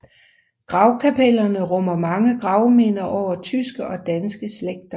Gravkapellerne rummer mange gravminder over tyske og danske slægter